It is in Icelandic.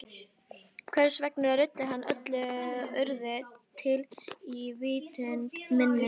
Hvers vegna ruddi hann öllu öðru til í vitund minni?